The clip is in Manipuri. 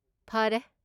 ꯐꯔꯦ꯫